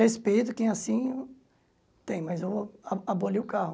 Respeito quem assim tem, mas eu a aboli o carro.